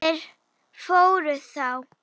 Þeir fóru þá.